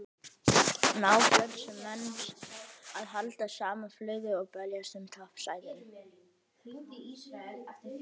Ná Fjölnismenn að halda sama flugi og berjast um toppsætin?